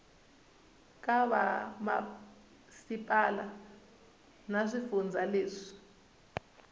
ka vamasipala na swifundza leswi